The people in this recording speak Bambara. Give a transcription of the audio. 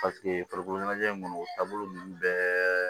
farikolo ɲɛnajɛ in kɔni o taabolo nunnu bɛɛ